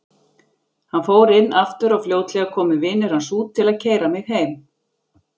Hann fór inn aftur og fljótlega komu vinir hans út til að keyra mig heim.